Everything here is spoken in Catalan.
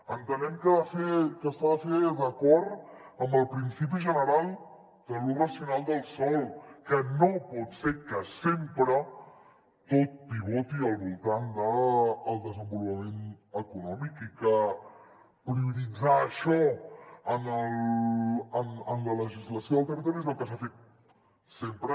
entenem que s’ha de fer d’acord amb el principi general de l’ús racional del sòl que no pot ser que sempre tot pivoti al voltant del desenvolupament econòmic i que prioritzar això en la legislació del territori és el que s’ha fet sempre